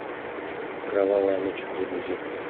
кровавая ночь загрузи